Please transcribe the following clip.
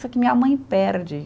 Só que minha mãe perde